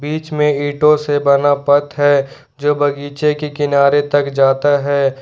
बीच में ईटों से बना पथ है जो बगीचे के किनारे तक जाता है।